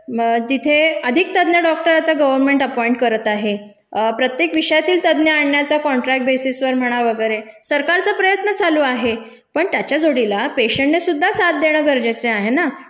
तिथे अधिक तज्ञ डॉक्टर आता गर्व्हनमेंट अपॉईंट करत आहे. प्रत्येक विषयातील तज्ञ आणण्याचा कॉन्ट्रक्ट बेसिसवर म्हणा वगैरे. सरकारचा प्रयत्न चालू आहे पण त्याच्या जोडीला पेशंटनेसुद्धा साथ देणं गरजेचे आहे ना.